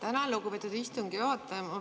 Tänan, lugupeetud istungi juhataja!